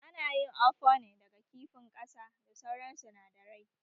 Ana yin ofor ne daga kifin ƙasa da sauran sinadarai